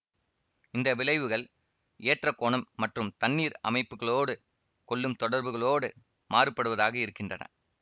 இந்த விளைவுகள் ஏற்ற கோணம் மற்றும் தண்ணீர் அமைப்புக்களோடு கொள்ளும் தொடர்புகளோடு மாறுபடுவதாக இருக்கின்றன